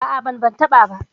A'a, ban ban taɓa ba.